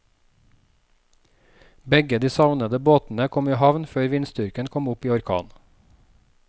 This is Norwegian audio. Begge de savnede båtene kom i havn før vindstyrken kom opp i orkan.